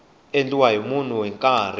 endliweke hi munhu hi nkarhi